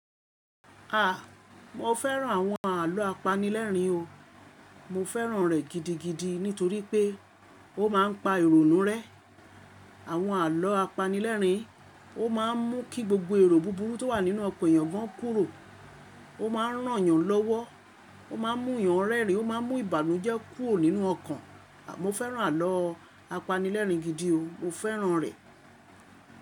A! Mo fẹ́ràn àwọn àlọ́ apanilẹ́rin o. Mo fẹ́ràn rẹ̀ gidigidi nítorí pé ó máa ń pa ìrònú rẹ́. Àwọn àlọ́ apanilẹ́rin ó máa ń mú kí gbogbo èrò búburú tó wà nínú ọkàn èèyàn gan kúrò. Ó ma ń ràn yàn lọ́wọ́. Ó ma ń mú yàn rẹ́rìn. Ó ma ń mú ìbànújẹ́ kúrò nínú ọkàn. Mo fẹ́ràn àlọ́ apanilẹ́rin gidi o. Mo fẹ́ràn rẹ̀